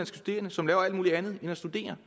studerende som laver alt mulig andet end at studere